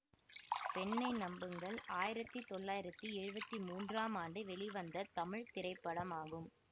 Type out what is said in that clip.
பெண்ணை நம்புங்கள் ஆயிரத்தி தொள்ளாயிரத்தி எழுவத்தி மூன்றாம் ஆண்டு வெளிவந்த தமிழ் திரைப்படமாகும்